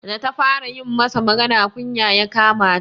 Da ta fara yi masa magana, kunya ya kama ta.